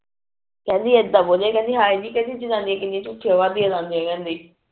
ਕਿਹੰਦੀ ਇਦਾ ਬੋਲੀ ਕਿਹੰਦੀ ਹਾਏ ਨੀ ਕਹਿੰਦੀ ਜਨਨੀ ਕਿੰਨਿਆ ਝੂਠੀ